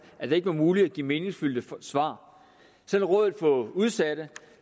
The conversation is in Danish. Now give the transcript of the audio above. at det ikke var muligt at give meningsfyldte svar selv rådet for socialt udsatte